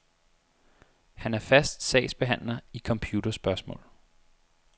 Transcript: Han er fast sagsbehandler i computerspørgsmål.